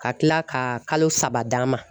Ka kila ka kalo saba d'a ma.